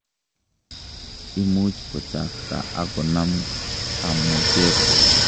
Imuch kochakta ak konam tamoket.